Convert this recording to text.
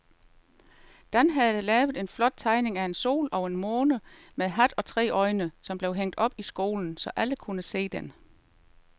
Dan havde lavet en flot tegning af en sol og en måne med hat og tre øjne, som blev hængt op i skolen, så alle kunne se den.